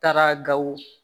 Taara gawo